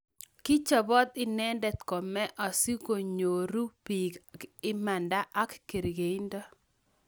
kichobot inende kome asikunyoru biik imanda ak kerkeindo